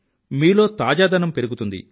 మీలో తాజాదనం పెరుగుతుంది